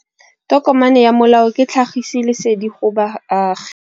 Tokomane ya molao ke tlhagisi lesedi go baagi.